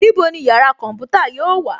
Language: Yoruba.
Níbo ni yàrá kọ̀ḿpútà yóò wà